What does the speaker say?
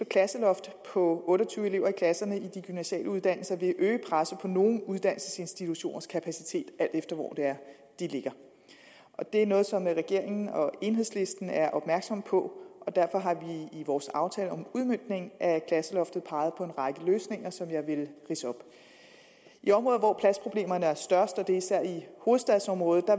klasseloft på otte og tyve elever i klasserne i de gymnasiale uddannelser vil øge presset på nogle uddannelsesinstitutioners kapacitet alt efter hvor de ligger det er noget som regeringen og enhedslisten er opmærksomme på og derfor har vi i vores aftale om udmøntningen af klasseloftet peget på en række løsninger som jeg vil ridse op i områder hvor pladsproblemerne er størst og det er især i hovedstadsområdet